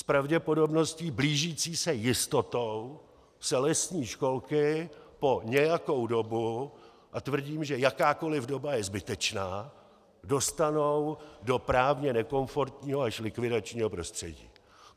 S pravděpodobností blížící se jistotě se lesní školky po nějakou dobu - a tvrdím, že jakákoli doba je zbytečná - dostanou do právně nekomfortního až likvidačního prostředí.